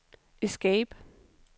escape